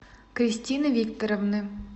кристины викторовны